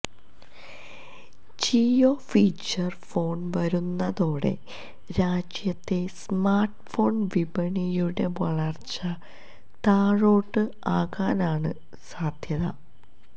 Jio feature phone വരുന്നതോടെ രാജ്യത്തെ smartphone വിപണിയുടെ വളര്ച്ച താഴോട്ട് ആകാനാണ് സാധ്യത